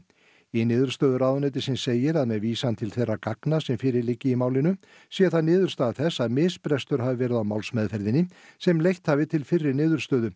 í niðurstöðu ráðuneytisins segir að með vísan til þeirra gagna sem fyrir liggi í málinu sé það niðurstaða þess að misbrestur hafi verið á málsmeðferðinni sem leitt hafi til fyrri niðurstöðu